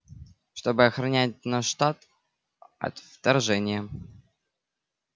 чтобы охранять наш штат от вторжения